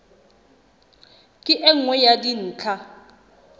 ke e nngwe ya dintlha